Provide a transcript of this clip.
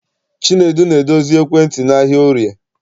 Chinedu na-edozi ekwentị n'ahịa Orie.